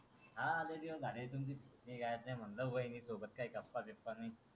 हा लय दिवस झाले म्हणलं वहिनी सोबत काही गप्पा बीप्पा नाही.